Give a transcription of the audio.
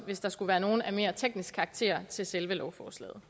hvis der skulle være nogle af mere teknisk karakter til selve lovforslaget